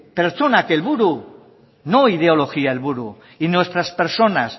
pertsonak helburu o ideologia helburu y nuestras personas